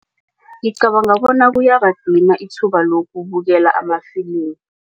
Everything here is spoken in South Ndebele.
Ngicabanga ukuthi kuyabadima ithuba lokubukela amafilimi.